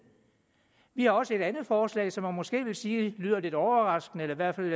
har også et andet forslag som man måske vil sige lyder lidt overraskende i hvert fald